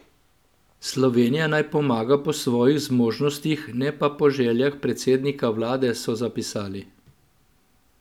Slovenija naj pomaga po svojih zmožnostih, ne pa po željah predsednika vlade, so zapisali.